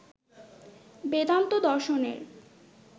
বেদান্ত দর্শনের